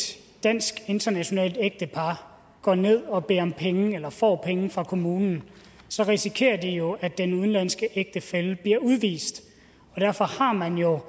dansk internationalt ægtepar går ned og beder om penge eller får penge fra kommunen risikerer de jo at den udenlandske ægtefælle bliver udvist derfor har man jo